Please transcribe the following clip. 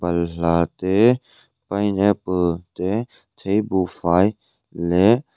balhla te pineapple te theibuhfai leh --